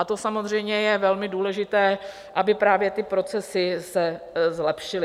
A to samozřejmě je velmi důležité, aby právě ty procesy se zlepšily.